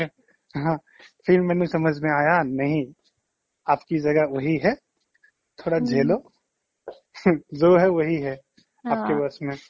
phir মুহজে সামাজ mei আয়া ki নেহি আপকী জাগাহ ৱোহি হে thora জেহলো jo হে ৱোহি আপকী bash mei